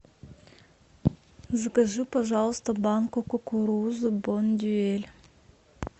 закажи пожалуйста банку кукурузы бондюэль